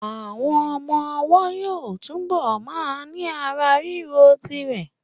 Àwọn ọmọ ọwọ́ yóò túbọ̀ ma ní ara rírọ̀ d rẹ